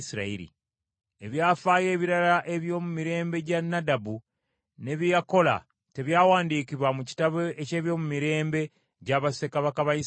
Ebyafaayo ebirala eby’omu mirembe gya Nadabu, ne bye yakola, tebyawandiikibwa mu kitabo eky’ebyomumirembe gya bassekabaka ba Isirayiri?